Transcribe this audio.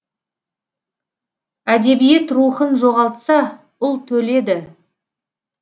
әдебиет рухын жоғалтса ұлт өледі